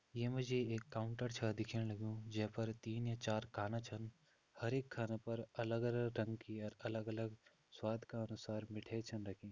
यमु जी एक काउंटर छ दिख्यंण लग्युं जे फेर तीन या चार खाना छन हर एक खाना पर अलग रंग की अर अलग अलग स्वाद का अनुसार मिठे छन रखीं।